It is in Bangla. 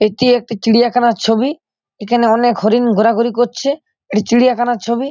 এটি একটি চিড়িয়াখানার ছবি এখানে অনেক হরিণ ঘোরাঘুরি করছে এটি চিড়িয়াখানার ছবি।